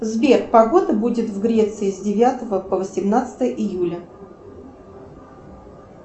сбер погода будет в греции с девятого по восемнадцатое июля